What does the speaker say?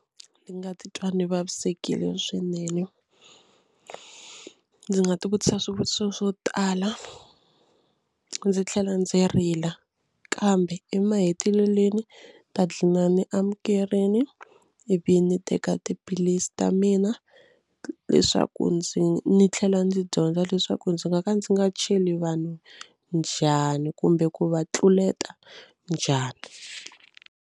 Ndzi nga titwa ndzi vavisekile swinene ndzi nga tivutisa swivutiso swo tala ndzi tlhela ndzi rila kambe emahetelelweni ta gcina ni amukerile ivi ni teka tiphilisi ta mina leswaku ndzi ni tlhela ndzi dyondza leswaku ndzi nga ka ndzi nga cheli vanhu njhani kumbe ku va tluleta njhani.